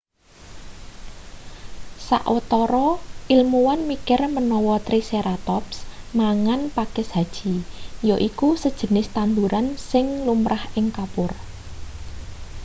sawetara ilmuwan mikir menawa triceratops mangan pakis haji yaiku sejenis tanduran sing lumrah ing kapur